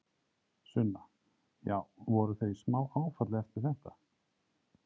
Sunna: Já, voru þau í smá áfalli eftir þetta?